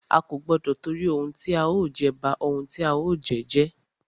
A kò gbọdọ tìtorí ohun tí a ó jẹ, ba ohun tí a ó jẹ́ jẹ́.